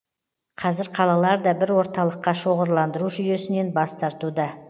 қазір қалалар да бір орталыққа шоғырландыру жүйесінен бас тартуда